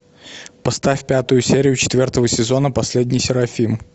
поставь пятую серию четвертого сезона последний серафим